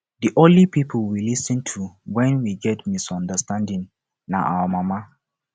the only people we lis ten to wen we get misunderstanding na our mama